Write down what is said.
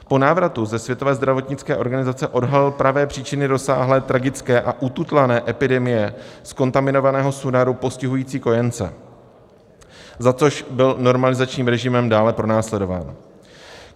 Po návratu ze Světové zdravotnické organizace odhalil pravé příčiny rozsáhlé tragické a ututlané epidemie z kontaminovaného Sunaru postihující kojence, za což byl normalizačním režimem dále pronásledován.